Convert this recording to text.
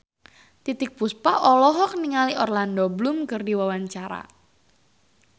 Titiek Puspa olohok ningali Orlando Bloom keur diwawancara